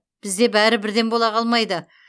бізде бәрі бірден бола қалмады